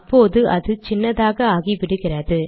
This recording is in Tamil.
அப்போது அது சின்னதாக ஆகிவிடுகிறது